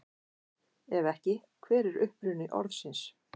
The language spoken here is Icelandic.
Ef ekki, hver er uppruni orðsins?